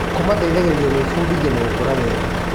Kũmateithagia gwĩbundithia na gũkũra wega.